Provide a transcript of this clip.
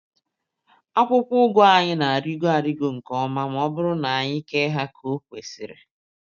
Akwụkwọ ụgụ anyị na-arịgo arịgo nke ọma ma ọ bụrụ na anyị kee ha ka o kwesịrị.